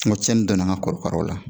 Nka cɛni donna an ka korokaraw la